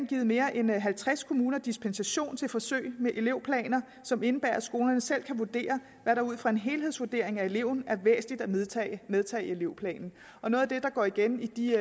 givet mere end halvtreds kommuner dispensation til forsøg med elevplaner som indebærer at skolerne selv kan vurdere hvad der ud fra en helhedsvurdering af eleven er væsentligt at medtage medtage i elevplanen noget af det der går igen i de